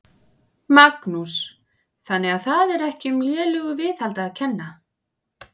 Magnús: Þannig að það er ekki um lélegu viðhaldi að kenna?